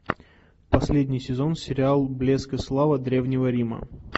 последний сезон сериал блеск и слава древнего рима